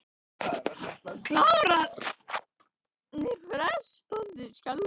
Klárarnir, fnæsandi af skelfingu, brutust um í leit að leið upp úr gryfjunni.